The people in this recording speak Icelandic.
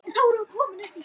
Elsku Mæja frænka.